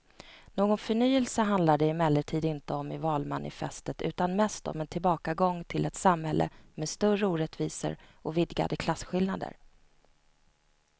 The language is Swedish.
Någon förnyelse handlar det emellertid inte om i valmanifestet utan mest om en tillbakagång till ett samhälle med större orättvisor och vidgade klasskillnader.